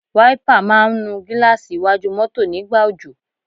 Wáípà máa ń nu gíláàsì iwájú mọ́tọ̀ nígbà òjò.